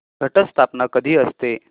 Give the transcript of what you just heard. घट स्थापना कधी असते